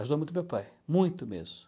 Ajudou muito meu pai, muito mesmo.